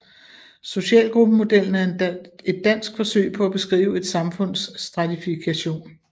Socialgruppemodellen er et dansk forsøg på at beskrive et samfunds stratifikation